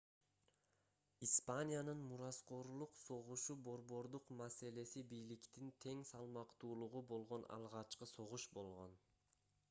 испаниянын мураскорлук согушу борбордук маселеси бийликтин тең салмактуулугу болгон алгачкы согуш болгон